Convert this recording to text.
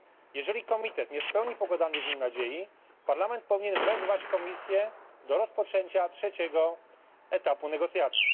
Jeżeli komitet nie spełni pokładanych w nim nadziei, Parlament powinien wezwać Komisję do rozpoczęcia trzeciego etapu negocjacji.